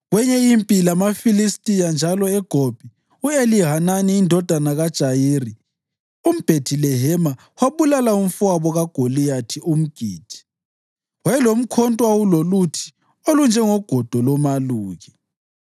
Kweyinye impi lamaFilistiya njalo eGobi, u-Elihanani indodana kaJayiri umBhethilehema wabulala umfowabo kaGoliyathi umGithi, owayelomkhonto owawuloluthi olunjengogodo lomaluki.